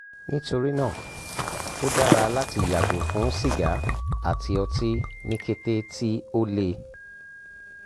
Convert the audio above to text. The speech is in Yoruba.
nitorina o dara lati yago fun siga ati oti ni kete ti o le